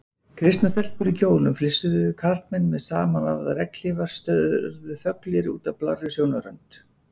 Kristnar stelpur í kjólum flissuðu, karlmenn með samanvafðar regnhlífar störðu þöglir út að blárri sjónarrönd.